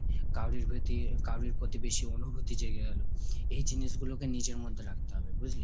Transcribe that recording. কারোই প্রতি কারোই প্রতি বেশি অনূভতি জেগে গেলো। এই জিনিসগুলোকে নিজের মধ্যে রাখতে হবে বুজলি?